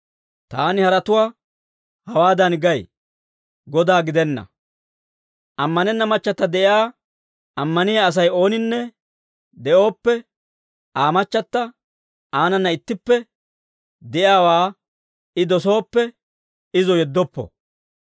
Taani haratuwaa hawaadan gay; Godaa gidenna. Ammanenna machchata de'iyaa ammaniyaa Asay ooninne de'ooppe, Aa machchata aanana ittippe de'iyaawaa I dosooppe, izo yeddoppo.